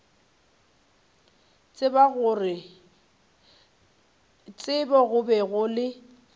tsebo go be go le